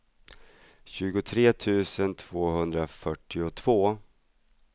tjugotre tusen tvåhundrafyrtiotvå